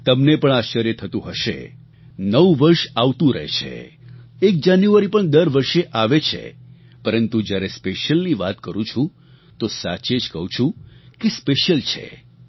તમને પણ આશ્ચર્ય થતું હશે નવું વર્ષ આવતું રહે છે એક જાન્યુઆરી પણ દર વર્ષે આવે છે પરંતુ જ્યારે સ્પેશ્યલની વાત કરું છું તો સાચે જ કહું છું કે સ્પેશ્યલ છે